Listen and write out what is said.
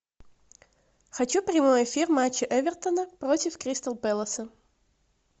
хочу прямой эфир матча эвертона против кристал пэласа